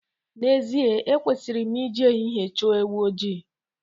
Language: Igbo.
N'ezie ekwesịrị m ị ji ehihie chọọ ewu ojii.